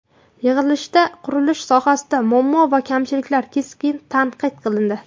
Yig‘ilishda qurilish sohasidagi muammo va kamchiliklar keskin tanqid qilindi.